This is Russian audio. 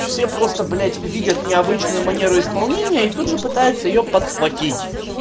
все просто блять видят необычную манеру исполнения и тут же пытаются её подхватить